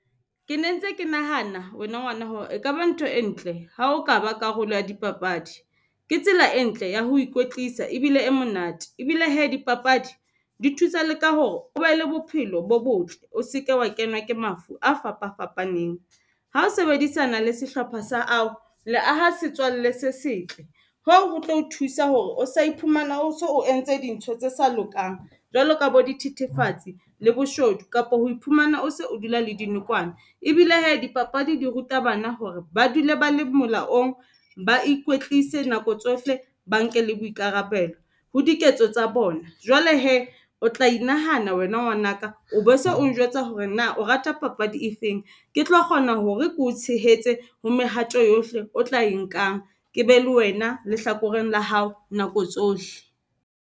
Ke ne ntse ke nahana wena ngwana hore e kaba ntho e ntle ha o ka ba karolo ya dipapadi. Ke tsela e ntle ya ho ikwetlisa ebile e monate, ebile hee dipapadi di thusa le ka hore o be le bophelo bo botle. O seke wa kenwa ke mafu a fapa fapaneng. Ha o sebedisana le sehlopha sa ao, le aha setswalle se setle hoo ho tlo o thusa hore o ska iphumana o so o entse dintho tse sa lokang jwalo ka bo dithethefatsi le boshodu kapa ho iphumana o se o dula le dinokwane. Ebile hee dipapadi di ruta bana hore ba dule ba le molaong, ba ikwetlise nako tsohle, ba nke le boikarabelo ho diketso tsa bona. Jwale hee o tla inahana wena ngwanaka o bo so o njwetsa hore na o rata papadi e feng. Ke tlo kgona hore ke o tshehetse ho mehato yohle o tla e nkang ke be le wena lehlakoreng la hao nako tsohle.